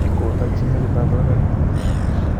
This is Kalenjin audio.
"kotakyi metit ab poyondenyin ak komuok .